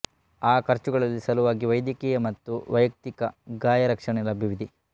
ಆ ಖರ್ಚುಗಳಿಗೆ ಸಲುವಾಗಿ ವೈದ್ಯಕೀಯ ಮತ್ತು ವೈಯಕ್ತಿಕ ಗಾಯ ರಕ್ಷಣೆ ಲಭ್ಯವಿದೆ